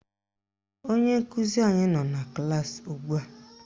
Onye nkụzi anyị nọ na klaasị ugbua